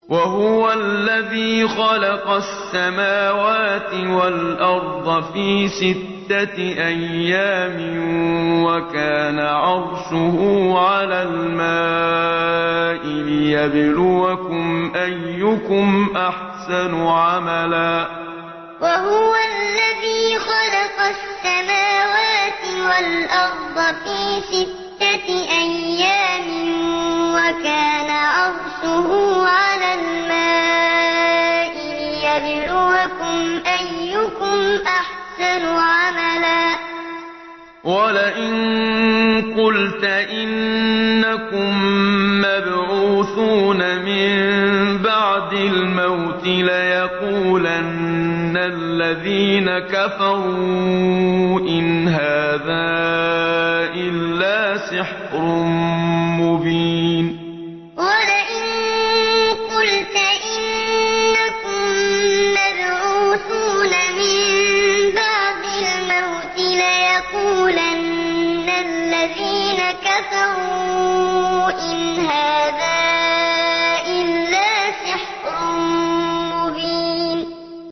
وَهُوَ الَّذِي خَلَقَ السَّمَاوَاتِ وَالْأَرْضَ فِي سِتَّةِ أَيَّامٍ وَكَانَ عَرْشُهُ عَلَى الْمَاءِ لِيَبْلُوَكُمْ أَيُّكُمْ أَحْسَنُ عَمَلًا ۗ وَلَئِن قُلْتَ إِنَّكُم مَّبْعُوثُونَ مِن بَعْدِ الْمَوْتِ لَيَقُولَنَّ الَّذِينَ كَفَرُوا إِنْ هَٰذَا إِلَّا سِحْرٌ مُّبِينٌ وَهُوَ الَّذِي خَلَقَ السَّمَاوَاتِ وَالْأَرْضَ فِي سِتَّةِ أَيَّامٍ وَكَانَ عَرْشُهُ عَلَى الْمَاءِ لِيَبْلُوَكُمْ أَيُّكُمْ أَحْسَنُ عَمَلًا ۗ وَلَئِن قُلْتَ إِنَّكُم مَّبْعُوثُونَ مِن بَعْدِ الْمَوْتِ لَيَقُولَنَّ الَّذِينَ كَفَرُوا إِنْ هَٰذَا إِلَّا سِحْرٌ مُّبِينٌ